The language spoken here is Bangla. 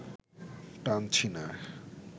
টানছি না